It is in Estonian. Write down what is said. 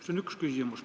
See on üks küsimus.